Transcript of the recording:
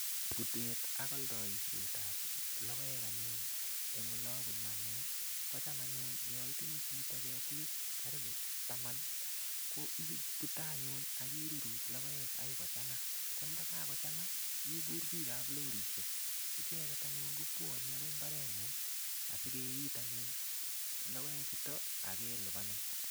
Putet ak aldoisietab logoek anyun, eng olabunu anne kocham anyun yo itinye chito ketik karibu taman, ko ipute anyun ak iruruch logoek ai kochanga. Ko ndagagochanga, ikur pikab lorisiek. Icheget anyun ko bwanei agoi mbarengung asikeit anyun logoe chuto ak kelupanin.